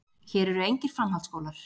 Hér eru engir framhaldsskólar.